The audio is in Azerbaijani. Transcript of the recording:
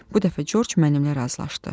Bu dəfə Corc mənimlə razılaşdı.